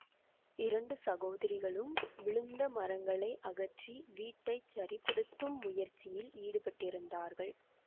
இரண்டு சகோதரிகளும் விழுந்த மரங்களை அகற்றி வீட்டை சரிப்படுத்தும் முயற்சியில் ஈடுபட்டிருந்தார்கள்